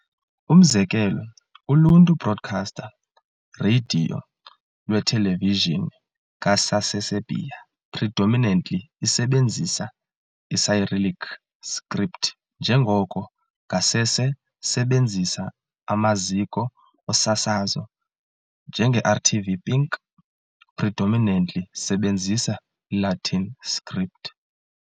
Umzekelo, uluntu broadcaster, Radio Lwethelevijini ka-Saseserbia, predominantly isebenzisa i-cyrillic script njengoko ngasese sebenzisa amaziko osasazo, njenge RTV Pink, predominantly sebenzisa Latin script.